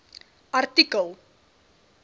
artikel